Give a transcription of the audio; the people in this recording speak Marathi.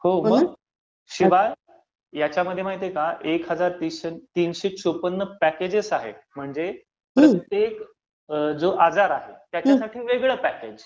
हो मग. शिवाय ह्यांच्यामध्ये माहित आहे का, ह्यांच्यामध्ये एक हजार तीनशे चोपन्न पॅकेजेस आहेत, म्हणजे प्रत्येक जो आजार आहे, त्याच्यासाठी वेगळं पॅकेज